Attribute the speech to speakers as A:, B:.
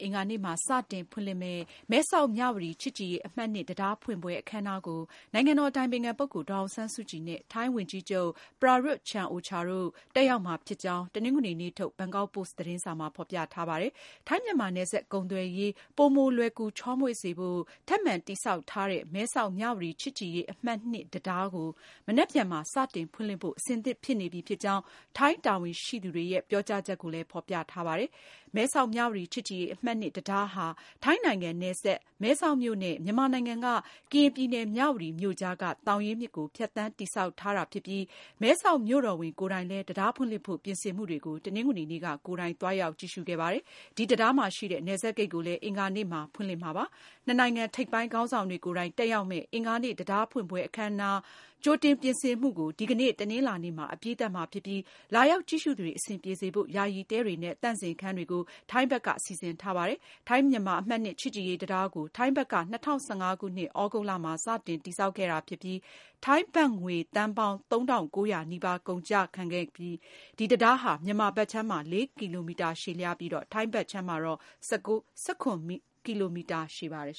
A: အင်္ဂါနေ့မှာ စတင် ဖွင့်လှစ်မယ့် မဲဆောက်-မြဝတီ ချစ်ကြည်ရေးအမှတ် (၂) တံတားဖွင့်ပွဲ အခမ်းအနားကို နိုင်ငံတော်အတိုင်ပင်ခံပုဂ္ဂိုလ် ဒေါ်အောင်ဆန်းစုကြည် နဲ့ ထိုင်းဝန်ကြီးချုပ် Prayut Chan-o-cha တို့ တက်ရောက်မှာဖြစ်ကြောင်း တနင်္ဂနွေနေ့ ထုတ် ဘန်ကောက်ပို့စ်သတင်းစာမှာ ဖေါ်ပြထားပါတယ်။ ထိုင်း-မြန်မာ နယ်စပ်ကုန်သွယ်ရေး ပိုမိုလွယ်ကူ ချောမွေ့စေဖို့ ထပ်မံ တည်ဆောက် ထားတဲ့ မဲဆောက်-မြဝတီ ချစ်ကြည်ရေးအမှတ် (၂)တံတား ကို မနက်ဖြန်မှာ စတင်ဖွင့်လှစ်ဖို့ အဆင်သင့် ဖြစ်နေပြီဖြစ်ကြောင်း ထိုင်း တာဝန်ရှိသူတွေရဲ့ ပြောကြားချက်ကို ဘန်ကောက်ပို့စ်မှာ ဖေါ်ပြထားပါတယ်။ မဲဆောက်-မြဝတီ ချစ်ကြည်ရေးအမှတ် (၂)တံတားဟာ ထိုင်းနိုင်ငံ Tak ခရိုင်က မဲဆောက်မြို့နဲ့ မြန်မာနိုင်ငံ ကရင်ပြည်နယ် မြဝတီ မြို့ ကြားက သောင်ရင်းမြစ်ကို ဖြတ်သန်းတည်ဆောက်ထားတာဖြစ်ပြီး မဲဆောက်မြို့တော်ဝန် Therdkiat Chinsoranand ကိုယ်တိုင်လည်း တံတားဖွင့်လှစ်ဖို့ ပြင်ဆင်မှုတွေကို တနင်္ဂနွေနေ့က ကိုယ်တိုင် သွားရောက်ကြည့်ရှုခဲ့ပါတယ်။ ဒီတံတားမှာရှိတဲ့ နယ်စပ်ဂိတ်ကိုလည်း အင်္ဂါနေ့မှာ ဖွင့်လှစ်မှာဖြစ်ပါတယ်။ နှစ်နိုင်ငံ ထိပ်ပိုင်းခေါင်းဆောင်တွေကိုယ်တိုင် တက်ရောက်မယ့် အင်္ဂါနေ့ တံတားဖွင့်ပွဲ အခမ်းအနားအတွက် ကြိုတင်ပြင်ဆင်မှုကို ဒီကနေ့ တနင်္လာနေ့မှာ အပြီးသတ်မှာဖြစ်ပြီး လာရောက်ကြည့်ရှုသူတွေ အဆင်ပြေစေဖို့ ယာယီတဲတွေနဲ့ သန့်စင်ခန်းတွေကို ထိုင်းဘက်က စီစဉ်ထားပါတယ်။ ထိုင်းမြန်မာ အမှတ် (၂) ချစ်ကြည်ရေးတံတားကို ထိုင်းဘက်က ၂၀၁၅ ခုနှစ် သြဂုတ်လမှာ စတင်တည်ဆောက်ခဲ့တာဖြစ်ပြီး ထိုင်းဘတ်ငွေသန်းပေါင်း ၃၉၀၀ နီးပါးကုန်ကျခဲ့တဲ့ တံတားဟာ မြန်မာဘက်ခြမ်းမှာ ၄ ကီလိုမီတာရှည်ပြီး ထိုင်းဘက်ခြမ်းမှာတော့ ၁၇ ကီလိုမီတာ ရှည်ပါတယ်